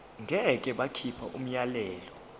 ngeke bakhipha umyalelo